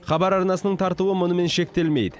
хабар арнасының тартуы мұнымен шектелмейді